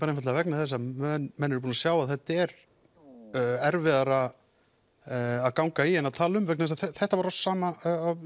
einfaldlega vegna þess að menn eru búnir að sjá að þetta er erfiðara að ganga í en tala um vegna þess að þetta var á sama